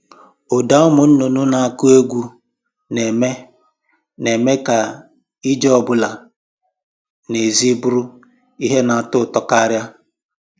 Ụda ụmụ nnụnụ na-akụ egwu na-eme na-eme ka ije ọ bụla n'èzí bụrụ ihe na-atọ ụtọ karịa